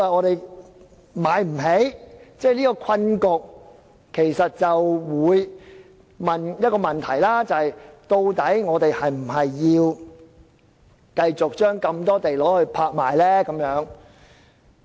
對於這個困局，大家會問的問題是，究竟我們是否要繼續將大量土地拍賣呢？